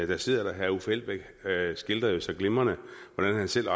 der sidder herre uffe elbæk skildrede jo så glimrende hvordan han selv